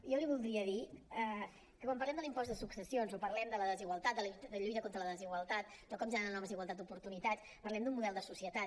jo li voldria dir que quan parlem de l’impost de successions o parlem de la desigualtat de la lluita contra la desigualtat de com generar noves igualtats d’oportunitats parlem d’un model de societat